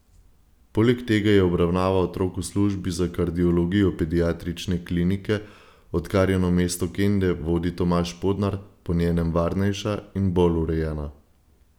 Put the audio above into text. Poleg tega je obravnava otrok v službi za kardiologijo Pediatrične klinike, odkar jo namesto Kende vodi Tomaž Podnar, po njenem varnejša in bolj urejena.